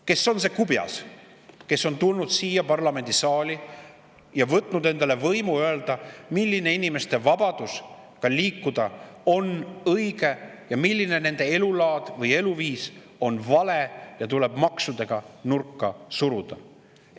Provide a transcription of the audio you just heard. Kes on see kubjas, kes on tulnud siia parlamendisaali ja võtnud endale võimu öelda, milline inimeste vabadus liikuda on õige, milline elulaad või eluviis on vale ja tuleb maksudega nurka suruda?